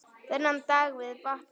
Þennan dag við vatnið.